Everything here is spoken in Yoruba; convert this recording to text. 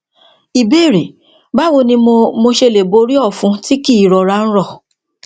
ìbéèrè báwo ni mo mo ṣe lè borí òfun tí kì í rọra ń rọ